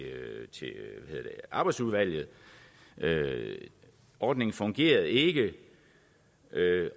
arbejdsudvalget ordningen fungerede ikke